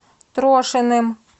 трошиным